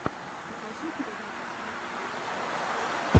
покажи передачи смарт фром чина